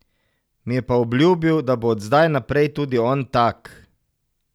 Mi je pa obljubil, da bo od zdaj naprej tudi on tak.